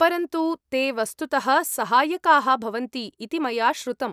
परन्तु, ते वस्तुतः सहायकाः भवन्ति इति मया श्रुतम्।